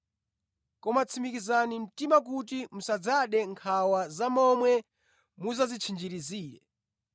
Koma tsimikizani mtima kuti musadzade nkhawa za momwe mudzadzitchinjirizire.